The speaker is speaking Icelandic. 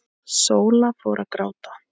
Sóla fór að gráta.